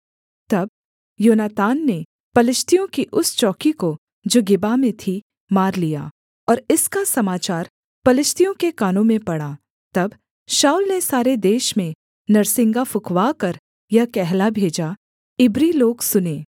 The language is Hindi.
तब योनातान ने पलिश्तियों की उस चौकी को जो गेबा में थी मार लिया और इसका समाचार पलिश्तियों के कानों में पड़ा तब शाऊल ने सारे देश में नरसिंगा फुँकवाकर यह कहला भेजा इब्री लोग सुनें